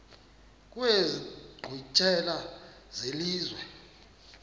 kwezi nkqwithela zelizwe